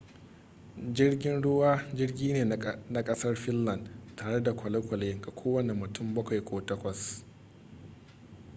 jirgin ruwa jirgi ne na kasar finland tare da kwale-kwale ga kowane mutum bakwai ko takwas